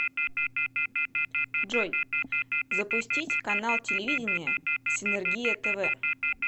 джой запустить канал телевидения синергия тв